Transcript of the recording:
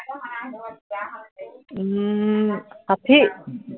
উম ষাঠী